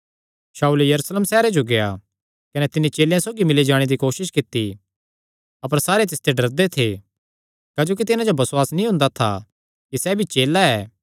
शाऊल यरूशलेम सैहरे जो गेआ कने तिन्नी चेलेयां सौगी मिल्ली जाणे दी कोसस कित्ती अपर सारे तिसते डरदे थे क्जोकि तिन्हां जो बसुआस नीं हुंदा था कि सैह़ भी चेला ऐ